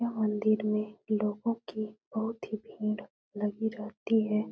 यह मंदिर में लोगो की बोहोत ही भीड़ लगी रेहति हे।